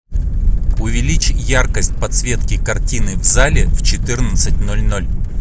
увеличь яркость подсветки картины в зале в четырнадцать ноль ноль